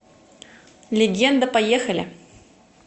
легенда поехали